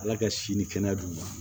Ala ka si ni kɛnɛya d'u ma